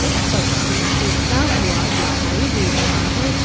पक्षी उड़ता हुआ दिखाई दे रहा है।